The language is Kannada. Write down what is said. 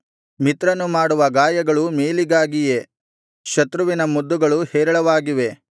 ಮಿತ್ರನು ಮಾಡುವ ಗಾಯಗಳು ಮೇಲಿಗಾಗಿಯೇ ಶತ್ರುವಿನ ಮುದ್ದುಗಳು ಹೇರಳವಾಗಿವೆ